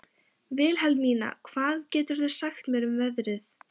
Vilhelmína, hvað geturðu sagt mér um veðrið?